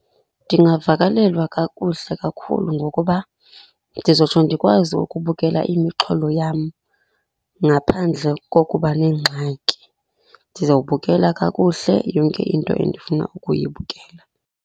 Ndingavakalelwa kakuhle kakhulu ngokuba ndizotsho ndikwazi ukubukela imixholo yam ngaphandle kokuba nengxaki, ndizawubukela kakuhle yonke into endifuna ukuyibukela.